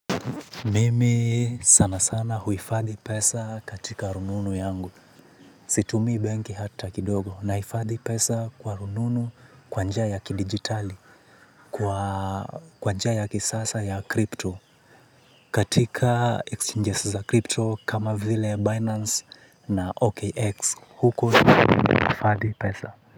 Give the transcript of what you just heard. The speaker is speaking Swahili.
Mimi sana sana huifadhi pesa katika rununu yangu. Situmii banki hata kidogo nahifadhi pesa kwa rununu kwanjia ya kidigitali, kwanjia ya kisasa ya kripto. Katika exchanges za kripto kama vile Binance na OKX huko nahifadhi pesa.